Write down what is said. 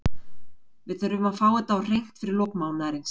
Við þurfum að fá þetta á hreint fyrir lok mánaðarins.